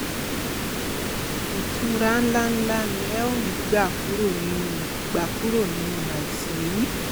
ìtura ńláǹlà ni ẹ ó rí gbà kúrò nínú gbà kúrò nínú àìsàn yìí